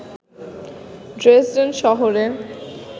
Dresden শহরে